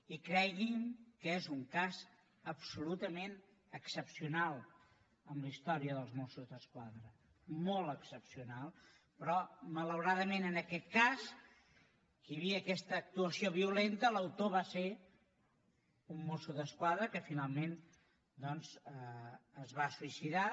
i creguin que és un cas absolutament excepcional en la història dels mossos d’esquadra molt excepcional però malauradament en aquest cas que hi havia aquesta actuació violenta l’autor va ser un mosso d’esquadra que finalment doncs es va suïcidar